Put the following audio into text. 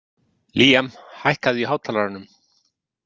Líam, hækkaðu í hátalaranum.